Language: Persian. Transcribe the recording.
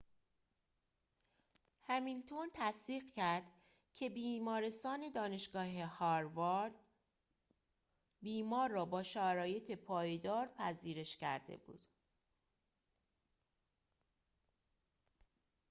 همیلتون تصدیق کرد که بیمارستان دانشگاه هاوارد بیمار را با شرایط پایدار پذیرش کرده بود